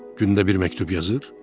Gündə bir məktub yazır?